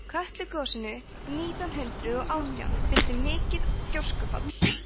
kötlugosinu nítján hundrað og átján fylgdi mikið gjóskufall